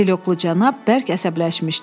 Katelioklu cənab bərk əsəbləşmişdi.